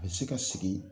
A bɛ se ka sigi